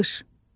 Qış.